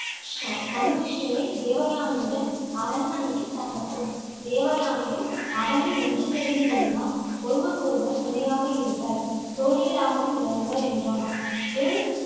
ஷ~ சன்மிஷ்டையை தேவயானையுடன் அரண்மனையில் தங்கட்டும். தேவயானையும், அவளும் ஒன்று சேர்ந்து இருந்தால், ஒருவருக்கொருவர் துணையாக இருப்பர். தோழிகளாகவும் விளங்குவர், என்றான் விரு ~